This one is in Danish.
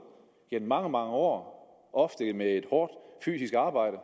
gennem mange mange år ofte med et hårdt fysisk arbejde